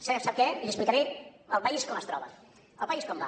sap què li explicaré el país com es troba el país com va